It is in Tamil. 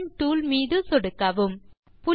பாலிகன் டூல் மீது சொடுக்கவும்